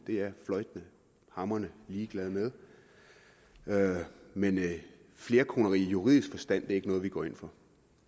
er jeg fløjtende hamrende ligeglad med med men flerkoneri i juridisk forstand er ikke noget vi går ind for